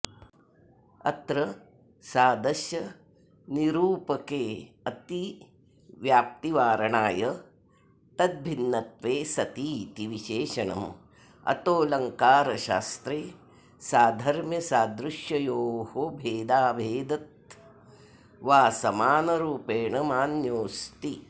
अत्र सादश्यनिरूपकेऽतिव्याप्तिवारणाय तद्भिन्नत्वे सतीति विशेषणम् अतोऽलङ्कारशास्त्रे साधर्म्यसादृश्ययोर्भेदाभेदत्वासमानरूपेण मान्योऽस्ति